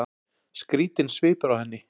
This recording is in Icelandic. Skrýtinn svipur á henni.